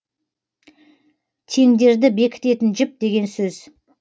теңдерді бекітетін жіп деген сөз